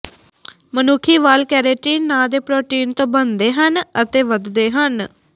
ਮਨੁੱਖੀ ਵਾਲ ਕਰੈਟਿਨ ਨਾਂ ਦੇ ਪ੍ਰੋਟੀਨ ਤੋਂ ਬਣਦੇ ਹਨ ਅਤੇ ਵੱਧਦੇ ਹਨ